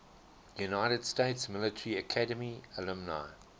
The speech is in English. united states military academy alumni